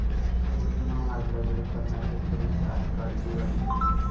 समृद्धी महामार्गाला विरोध करणाऱ्या शेतकऱ्यांची आज काळी दिवाळी